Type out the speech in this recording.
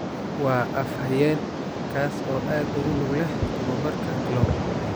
Waa af-hayeen, kaasoo aad ugu lug leh tababarka Klopp.